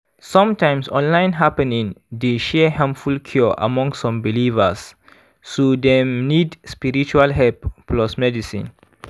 sometimes online happening dey share harmful cure among some believers so dem nid spiritual help plus medicine.